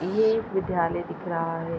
ये एक विद्यालय दिख रहा है।